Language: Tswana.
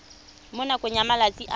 mo nakong ya malatsi a